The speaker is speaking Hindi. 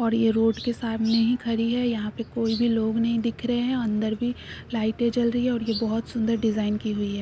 और ये रोड के सामने ही खड़ी है। यहाँ पर कोई भी लोग नहीं दिख रहे हैं। अंदर भी लाइटे जल रही है और ये बहोत सुंदर डिजाइन की हुई है।